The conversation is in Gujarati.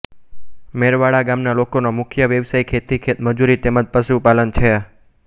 મેરવાડા ગામના લોકોનો મુખ્ય વ્યવસાય ખેતી ખેતમજૂરી તેમ જ પશુપાલન છે